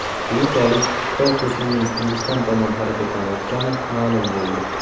Keyinchalik Xitoy qo‘shinining Hindiston tomon harakatlanayotgani ma’lum bo‘ldi .